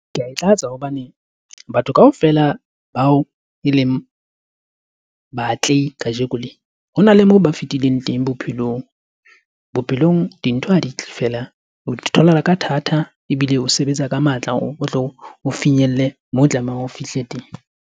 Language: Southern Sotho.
Ke a e tlatsa hobane batho kaofela bao e leng baatlehi kajeko lena ho na le moo ba fetileng teng bophelong. Bophelong dintho ha di tle feela o di tholahala ka thata ebile o sebetsa ka matla, o tlo o finyelle mo tlamehang o fihle teng.